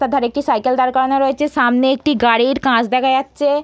তার ধারে একটি সাইকেল দাঁড় করানো রয়েছে সামনে একটি গাড়ির কাঁচ দেখা যাচ্ছে।